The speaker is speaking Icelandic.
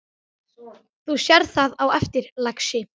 Þú sérð það á eftir, lagsi.